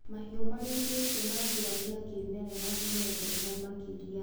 Mahiũ marĩithĩtio na njĩra cia kĩmerera nĩmendetwo makĩria.